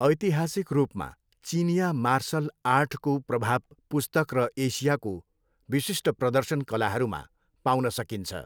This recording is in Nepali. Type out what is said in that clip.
ऐतिहासिक रूपमा, चिनियाँ मार्सल आर्टको प्रभाव पुस्तक र एसियाको विशिष्ट प्रदर्शन कलाहरूमा पाउन सकिन्छ।